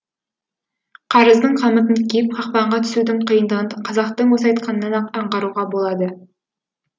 қарыздың қамытын киіп қақпанға түсудің қиындығын қазақтың осы айтқанынан ақ аңғаруға болады